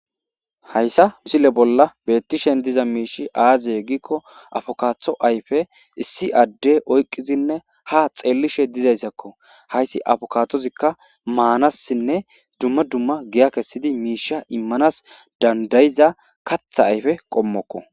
Hayssa misile bolla beettishen diza miishi aaziye giikko afokaatho ayfe issi aadde oyqqizinne ha xeellishe dizayssakko hayssi afokatozikka maanassinne dumma dumma giya kessidi miisha immanas dandayiza katha ayfe qommokko.